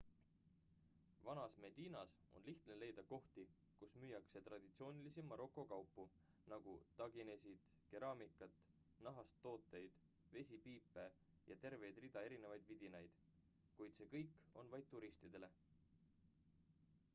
vanas medinas on lihtne leida kohti kus müüakse traditsioonilisi maroko kaupu nagu taginesid keraamikat nahast tooteid vesipiipe ja tervet rida erinevaid vidinaid kuid see kõik on vaid turistidele